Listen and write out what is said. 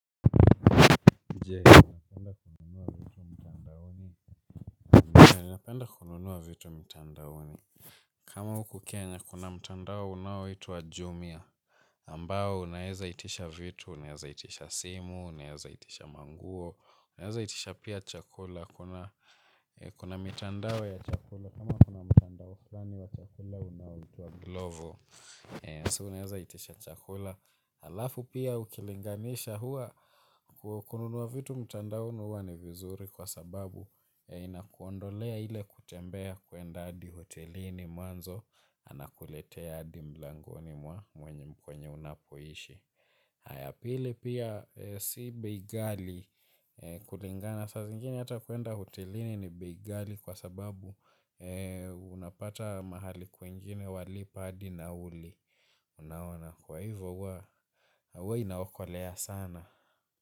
Je, unapenda kununua vitu mtandaoni. Kama huku kenya, kuna mtandao unaoitwa Jumia. Ambao, unaeza itisha vitu, unaeza itisha simu, unaeza itisha manguo, unaeza itisha pia chakula. Kuna mitandao ya chakula, kama kuna mtandao fulani wa chakula unaoitwa glovo, so unaeza itisha chakula. Alafu pia ukilinganisha huwa kununua vitu mtandaoni huwa ni vizuri kwa sababu. Inakuondolea ile kutembea kwenda hadi hotelini. Anakuletea adi mlangoni mwa mwenye kwenye unapoishi. Na ya pili pia si bei gali kulingana. Saa zingine hata kwenda hotelini ni bei ghali kwa sababu unapata mahali kwingine walipa adi nauli. Unaona kwa hivyo huwa huwa inaokolea sana.